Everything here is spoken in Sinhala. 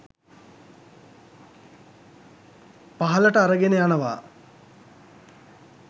පහළට අරගෙන යනවා.